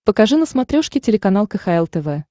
покажи на смотрешке телеканал кхл тв